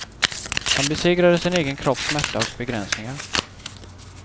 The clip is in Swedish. Han besegrade sin egen kropps smärta och begränsningar.